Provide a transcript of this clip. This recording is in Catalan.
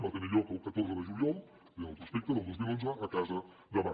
va tenir lloc el catorze de juliol aquí tenen el prospecte del dos mil un a casa del mar